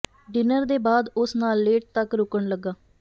dinner ਦੇ ਬਾਅਦ ਉਸ ਨਾਲ ਲੇਟ ਤੱਕ ਰੁਕਣ ਲੱਗਾ